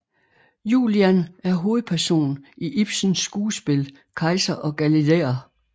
Julian er hovedperson i Ibsens skuespil Kejser og galilæer